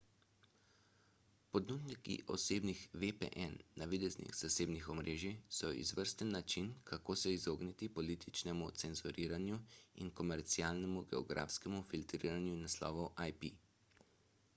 ponudniki osebnih vpn navideznih zasebnih omrežij so izvrsten način kako se izogniti političnemu cenzuriranju in komercialnemu geografskemu filtriranju naslovov ip